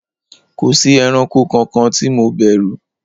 kòsí ẹranko kankan ti mo bèrù